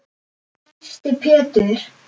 Þyrsti Pétur.